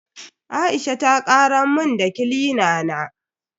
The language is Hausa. Aisha ta karar mun da kilina na.